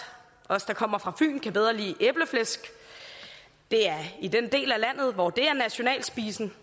os der kommer fra fyn kan bedre lide æbleflæsk det er den del af landet hvor det er nationalspisen